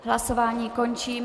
Hlasování končím.